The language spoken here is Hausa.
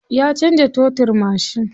Ya canza totirin mashin.